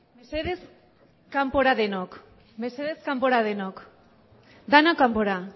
mesedez kanpora denok mesedez kanpora denok denak kanpora